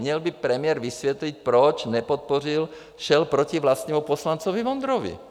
Měl by premiér vysvětlit, proč nepodpořil, šel proti vlastnímu poslanci Vondrovi.